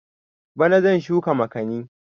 Bana zan shuka makani